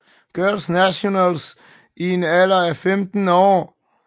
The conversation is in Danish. Girls Nationals i en alder af 15 år